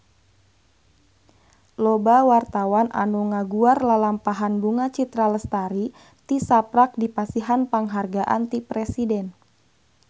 Loba wartawan anu ngaguar lalampahan Bunga Citra Lestari tisaprak dipasihan panghargaan ti Presiden